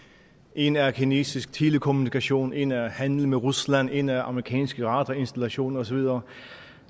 en er kinesisk telekommunikation en er handel med rusland en er amerikansk radarinstallation og så videre